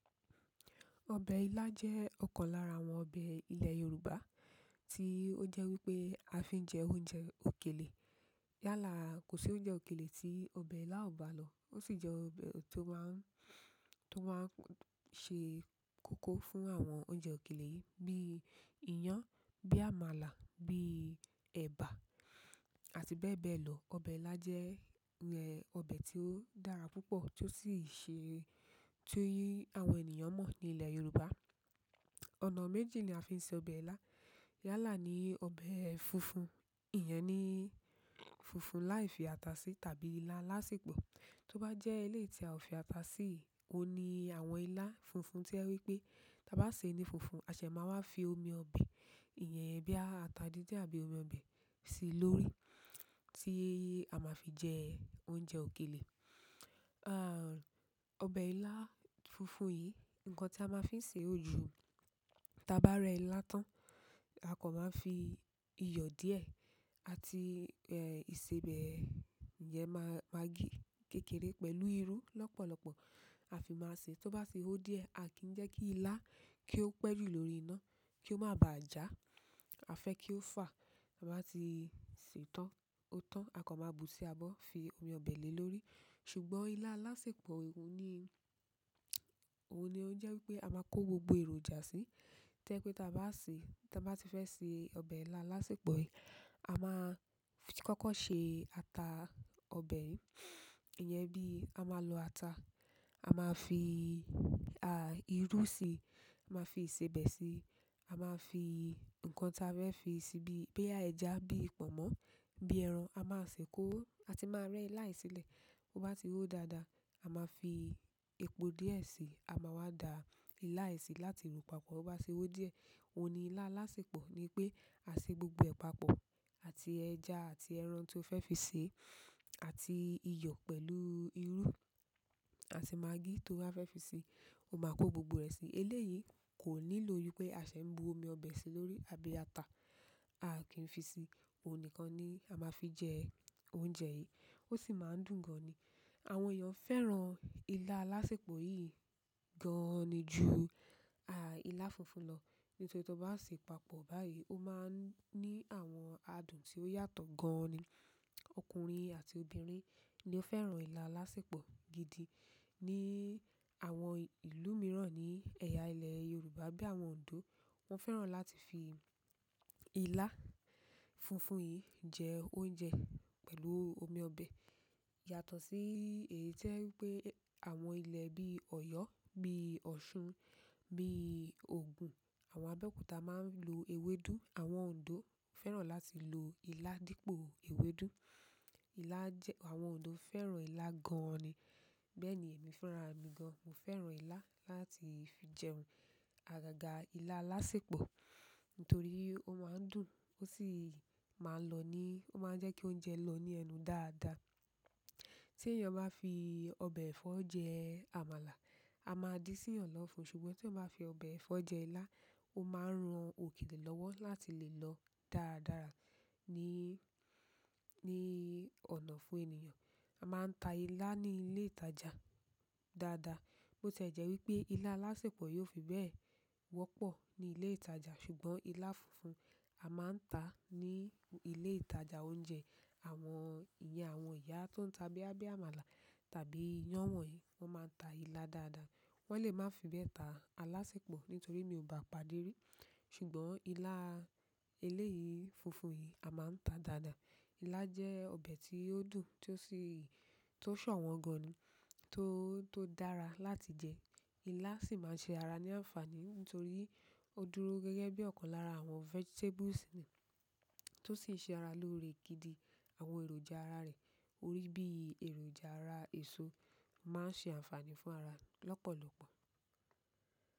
Ọbẹ̀ ilá jẹ́ ọ̀kan lára àwọn ọbẹ̀ ilẹ̀ Yorùbá tí ó jẹ́ wípé a fi ń jẹ oúnjẹ òkèlè. Ko sí oúnjẹ òkèlè ti ọbẹ ila o baa lo. O sì jẹ ọbẹ ti o máa ṣe kókó fún àwọn oúnjẹ òkèlè yìí bíi iyán, bíi àmàlà, bíi ẹba àti bẹ́ẹ̀ bẹ́ẹ̀ lọ. Ọbẹ̀ ilá jẹ́ ọbẹ̀ tí ó dára púpọ̀ tó sì ṣe, tí í àwọn ènìyàn mọ̀ ní ilẹ̀ Yorùbá. Ọ̀nà mẹ́ji ni a fi ń ṣe ọbẹ̀ ilá. Yálà ni ọbẹ̀ funfun. Ìyẹn ni funfun láì fi ata sí tàbí ilá alásèpọ̀. Tó bá jẹ́ eléyìí tí a ò fi ata si yiií, ohun ni àwọn ilá funfun tí jẹ wípé tí a bá ṣe ni funfun, a ṣẹ̀ máa wá fi omi ọbẹ̀, ìyẹn bóyá ata dídin àbí omi ọbẹ̀ sí i lórí tí a máa fi jẹ oúnjẹ òkèlè. Ọbẹ̀ ilá funfun yìí, ǹnkan tí a máa ń fi ṣe òju, tí a bá rẹ ilá tán, a kan máa fi iyọ̀ díẹ̀ àti ìsebẹ̀ iyen maggi kékeré pẹ̀lú irú lọ́pọ̀lọpọ̀, a fi máa ṣe. Tó bá ti ó díẹ̀, a kìí jẹ́ kí ilá kí ó pẹ́ jù lórí iná kí ó máa ba à já. A fẹ ki o fa ta bá ti sè tan o tán, a kan máa bu sí abọ́ fi omi ọbẹ̀ lé lórí. Ṣùgbọ́n ilá lásèpọ̀ ohun ni ó jẹ́ wípé a máa kó gbogbo èròjà sí i. To jẹ pé tí a bá ṣe, tí a bá ti fẹ́ ṣe ọbẹ̀ ilá alásèpọ̀ yìí, a máa kọ́kọ́ ṣe ata ọbẹ̀. Ìyẹn bí a máa lo ata, a máa fi irú sí i, a máa fi ìsebẹ̀ sí i, a máa fi ǹnkan tí a fẹ́ fi sí i bíi bóyá ẹja, bíi ìpọ̀mọ́, bíi ẹran, a máa sì kó ó àti máa rẹ́ ẹ́ ila yìí sílẹ̀. To ba tii ho dada, a ma fi epo diẹ sii, a maa wa da ila yìí si láti ro papọ̀. Ti bá ho díẹ̀, ohun ni ilá alásèpọ̀ ni pé a ṣe gbogbo ẹ̀ pàpọ̀ àti ẹja àti ẹran tí o fẹ́ fi sè é àti iyọ̀ pẹ̀lú irú àti maggi tó ba fẹ́ fi sè é. O máa kó gbogbo rẹ̀ sí i. Eléyìí kò nílò wípé a ṣẹ̀ ń bu omi ọbẹ̀ sí i lórí àbí ata. A kìí fi ṣi. Òun nìkan ni a máa fi jẹ oúnjẹ yìí. Ó sì máa ń dùn gan ni. Àwọn èèyàn fẹ́ràn ilá lásèpọ̀ yìí gan ni ju ilá funfun lọ nítorí to bá ṣe papọ̀ báyìí, ó máa ń ní àwọn adùn tí ó yàtọ̀ gan ni. Ọkùnrin àti obìnrin ni ó fẹ́ràn ilá lásèpọ̀ gidi. Ni àwọn ìlú mìíràn ní ẹ̀yà ilẹ̀ Yorùbá bí i àwọn Oǹdó, wọ́n fẹ́ràn láti fi ilá funfun yìí jẹ oúnjẹ pẹ̀lú omi ọbẹ̀ yàtọ̀ sí èyí to jẹ wípé àwọn ilẹ̀ bíi Ọ̀yọ́, bíi Ọ̀ṣun, bíi ògùn, àwọn Abẹ́òkúta máa ń lo ewédú. Àwọn Oǹdó fẹ́ràn láti lo ilá dípò ewédú. Àwọn òndó fẹ́ràn ila gan an ni bẹ́ẹ̀ ni èmi fẹ́ràn àra mi gan. Mo fẹ́ràn ilá láti fi jẹun. Àgàgà ilá lásèpọ̀ nítorí ó máa ń dùn, ó sì máa ń lọ ní, ó máa ń jẹ́ kí oúnjẹ lọ ní ẹnu dáadáa. Tí èèyàn bá fi ọbẹ̀ ẹ̀fọ́ jẹ àmàlà, a máa dí sí i èèyàn lọfún. Ṣùgbọ́n tí èèyàn bá fi ọbẹ̀ ẹ̀fọ́ jẹ ilá, ó máa ń ran òkèlè lọ́wọ́ láti lè lọ dáradára, ní ọ̀nà ọfún ènìyàn. A máa ń ta ilá ní ilé ìtajà dáadáa. Bo ti é je wípé ila alasepo yìí o fii bẹ́ẹ̀ wọ́pọ̀ ni ile ìtajà ṣùgbọ́n ila funfun a maa taa ní ilé ìtajà oúnjẹ. Ìyẹn àwọn ìyá tó ń ta bóyá bíi àmàlà tàbí iyán wọ̀nyìí, wọ́n máa ń ta ilá dáadáa. Wọ́n lè máa fi bẹ́ẹ̀ ta alásèpọ̀ nítorí mi ò bá padì rí. Ṣùgbọ́n ilá eléyìí funfun yìí, a máa ń ta dáadáa. Ilá jẹ́ ọbẹ̀ tí ó dùn tí ó sì, tó ṣọ̀wọ́n gan ni, tó dára láti jẹ. Ilá sì máa ń ṣe ara ní àǹfààní nítorí ó dúró gẹ́gẹ́ bí ọ̀kan lára àwọn vegetables ni tó sì ń ṣe ara lórí gidi àwọn èròjà ara rẹ̀. Orí bí i èròjà ara èso máa ń ṣe àǹfààní fún ara lọ́pọ̀lọpọ̀.